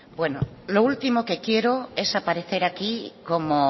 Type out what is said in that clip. bueno lo último que quiero es aparecer aquí como